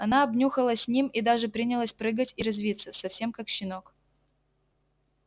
она обнюхалась с ним и даже принялась прыгать и резвиться совсем как щенок